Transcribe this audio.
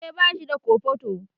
Kare bashi da kofoto